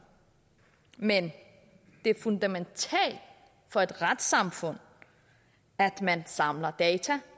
men det er fundamentalt for et retssamfund at man samler data